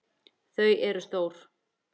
Þau eru stór.